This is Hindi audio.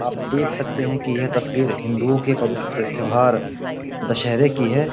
आप देख सकते हैं कि यह तस्वीर हिंदुओं के पवित्र त्यौहार दशहरे की है।